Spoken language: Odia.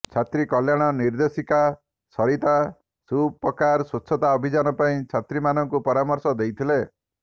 ଛାତ୍ରୀ କଲ୍ୟାଣ ନିର୍ଦେଶିକା ସରିତା ସୁପକାର ସ୍ବଚ୍ଛତା ଅଭିଯାନ ପାଇଁ ଛାତ୍ରୀମାନଙ୍କୁ ପରାମର୍ଶ ଦେଇଥିଲେ